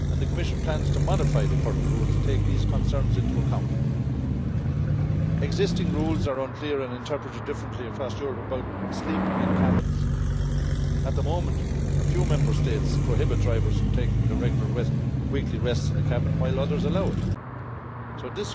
The Commission plans to modify the current rules to take these concerns into account. Existing rules are unclear and interpreted differently across Europe about sleeping in cabins. At the moment, a few Member States prohibit drivers from taking the regular weekly rests in the cabin, while others allow it.